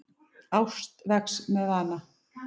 Ást vex með vana.